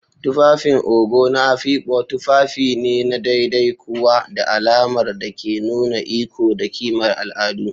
tufafin Ogo na Afikpo tufafi ne na ɗaiɗai kuwa da alamar da ke nuna iko da ƙimar al'adu.